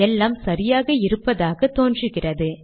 எல்லாம் சரியாக இருப்பதாக தோன்றுகிறது